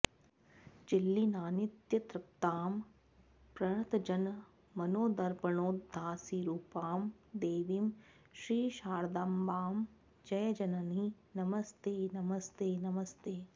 चिल्लीनानित्यतृप्तां प्रणतजनमनोदर्पणोद्भासिरूपां देवीं श्रीशारदाम्बां जय जननि नमस्ते नमस्ते नमस्ते